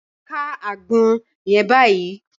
Ká àgbọn yẹn báyìí!